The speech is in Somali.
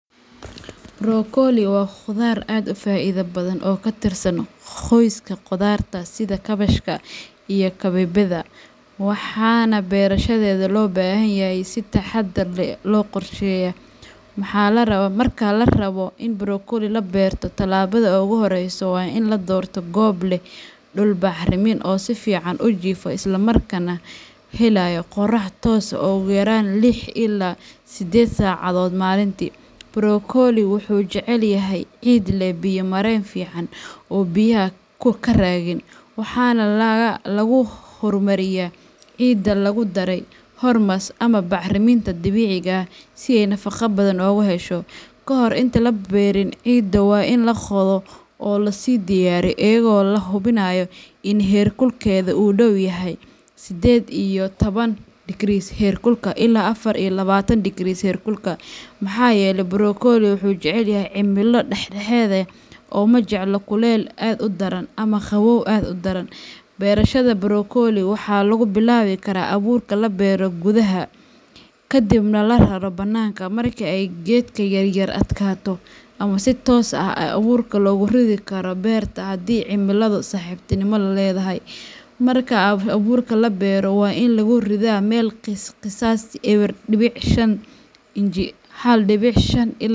Brokoli waa khudaar aad u faa’iido badan oo ka tirsan qoyska khudaarta sida kaabashka iyo kabeebeyda, waxaana beerashadeeda loo baahan yahay in si taxadar leh loo qorsheeyo. Marka la rabo in brokoli la beerto, tallaabada ugu horreysa waa in la doorto goob leh dhul bacrin ah oo si fiican u jiifa isla markaana helaya qorrax toos ah ugu yaraan lix ilaa sided saacadood maalintii. Brokoliga wuxuu jecel yahay ciid leh biyo mareen fiican oo aan biyuhu ka raagin, waxaana lagu horumariyaa ciidda lagu daray humus ama bacriminta dabiiciga ah si ay nafaqo badan ugu hesho. Kahor inta aan la beerin, ciidda waa in la qodo oo loo sii diyaariyaa iyadoo la hubinayo in heer kulkeeda uu ku dhow yahay sided iyo toban dikris herkulka ilaa afar iyo labatan dikris herkulka , maxaa yeelay brokoli wuxuu jecel yahay cimilo dhexdhexaad ah ma jecla kulayl aad u daran ama qabow aad u daran. Beerashada brokoli waxaa lagu bilaabi karaa abuurka oo la beero gudaha, kadibna la raro bannaanka marka ay geedka yaryar adkaado, ama si toos ah ayaa abuurka loogu ridi karaa beerta haddii cimiladu saaxiibtinimo la leedahay. Marka abuurka la beero, waa in lagu ridaa meel qiyaastii eber didbic shan inji ,hal dibic shan.